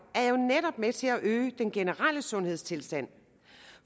er jo netop med til at øge den generelle sundhedstilstand